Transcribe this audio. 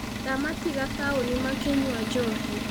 Ndamatiga taũni makĩnywa njohi.